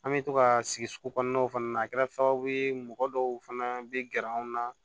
An bɛ to ka sigi sugu kɔnɔnaw fana na a kɛra sababu ye mɔgɔ dɔw fana bɛ gɛrɛ an na